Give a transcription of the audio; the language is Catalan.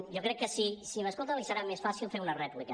jo crec que si m’escolta li serà més fàcil fer una rèplica